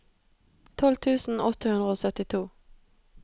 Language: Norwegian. tolv tusen åtte hundre og syttito